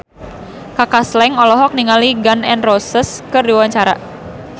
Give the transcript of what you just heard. Kaka Slank olohok ningali Gun N Roses keur diwawancara